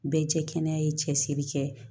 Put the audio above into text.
Bɛɛ tɛ kɛnɛya ye cɛsiri kɛ